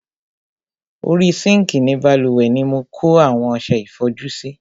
Orí sinkii ni bálùwẹ̀ ni mo kó àwọn ọsẹ ìfọjú sí.